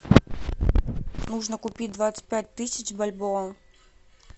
нужно купить двадцать пять тысяч бальбоа